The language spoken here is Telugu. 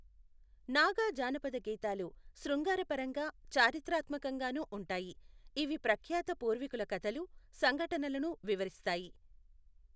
నాగా జానపద గీతాలు శృంగారపరంగా, చారిత్రాత్మకంగానూ ఉంటాయి, ఇవి ప్రఖ్యాత పూర్వీకుల కథలు, సంఘటనలను వివరిస్తాయి.